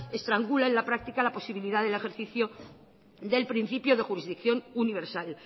estrangula en la práctica la posibilidad del ejercicio del principio de jurisdicción universal